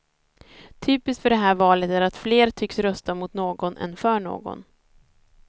Typiskt för det här valet är att fler tycks rösta mot någon än för någon.